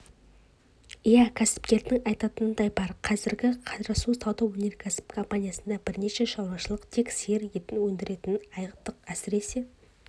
иә кәсіпкердің айтатынындай бар қазір қарасу сауда-өнеркәсіп компаниясында бірнеше шаруашылық тек сиыр етін өндіретінін айттық әсіресе